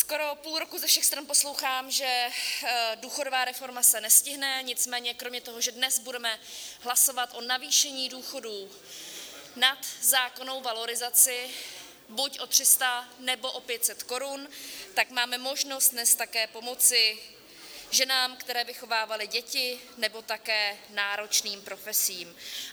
Skoro půl roku ze všech stran poslouchám, že důchodová reforma se nestihne, nicméně kromě toho, že dnes budeme hlasovat o navýšení důchodů nad zákonnou valorizaci, buď o 300, nebo o 500 korun, tak máme možnost dnes také pomoci ženám, které vychovávaly děti, nebo také náročným profesím.